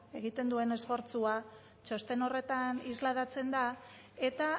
egiten duen esfortzua txosten horretan islatzen da eta